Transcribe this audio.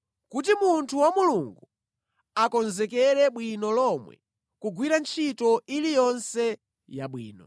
kuti munthu wa Mulungu akonzekere bwino lomwe kugwira ntchito iliyonse yabwino.